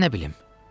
Mən nə bilim.